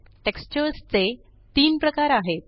textures चे तीन प्रकार आहेत